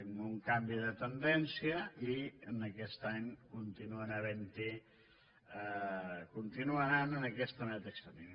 amb un canvi de tendència i aquest any continua anant en aquesta mateixa línia